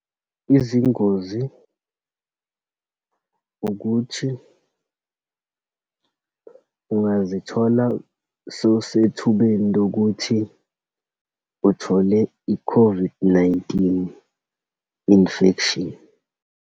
Izingozi ukuthi, ungazithola sowusethubeni lokuthi uthole i-COVID-19 infection.